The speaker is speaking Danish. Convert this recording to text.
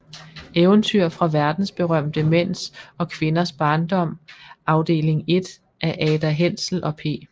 Eventyr fra verdensberømte Mænds og Kvinders Barndom Afdeling 1 af Ada Hensel og P